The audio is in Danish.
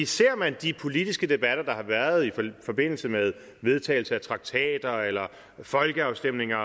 ser man de politiske debatter der har været i forbindelse med vedtagelse af traktater eller folkeafstemninger